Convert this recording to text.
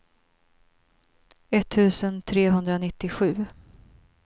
etttusen trehundranittiosju